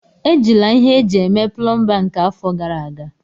Ejila ihe eji eme plomba nke afọ gara aga!